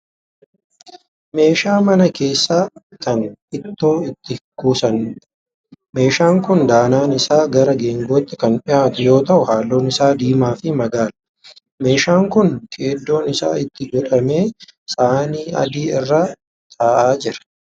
Meeshaa mana keessaa kan ittoo itti kuusaniidha. Meeshaan kun danaan isaa gara geengootti kan dhiyaatu yoo ta'u halluun isaa diimaa fi magaala. Meeshaan kun keeddoon isaa itti godhamee saanii adii irra ta'aa jira.